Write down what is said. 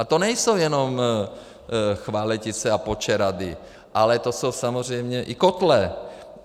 A to nejsou jenom Chvaletice a Počerady, ale to jsou samozřejmě i kotle.